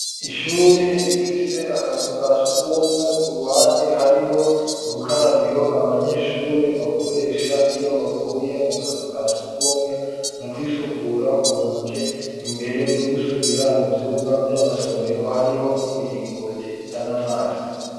Ishure rifise akazu ka sugumwe ku ruhande hariho urukarabiro abanyeshure bakoresha iyo bavuye mu kazu ka sugumwe mu kwisukura ku ntoke imbere yo gusubira mu vyumba vy'amasomero hariho n'imiringoti izana amazi